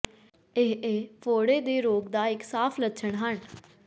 ਇਹ ਇਹ ਫੋੜੇ ਦੇ ਰੋਗ ਦਾ ਇੱਕ ਸਾਫ ਲੱਛਣ ਹਨ